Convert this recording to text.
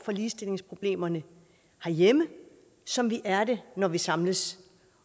ligestillingsproblemerne herhjemme som vi er det når vi samles